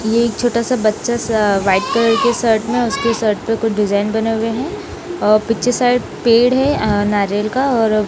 ये एक छोटा सा बच्चा सा वाइट कलर के शर्ट में उसके शर्ट पे कुछ डिजाइन बने हुए हैं और पीछे साइड पेड़ है अ नारियल का और--